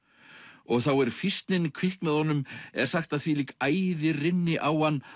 ok þá er kviknaði honum er sagt at þvílík æði rynni á hann